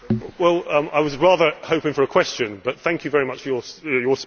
I was rather hoping for a question, but thank you very much for your speech.